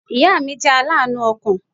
Ìya mi jẹ́ aláànú ọkàn